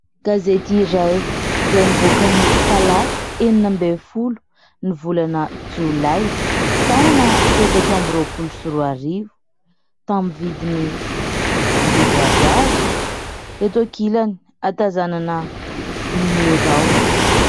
Gazety iray izay nivoaka ny talata enina ambin' ny folo ny volana jolay taona efatra amby roapolo sy roa arivo taminy vidiny arivo ariary eto an-kilany ahatazanana "numéro" any.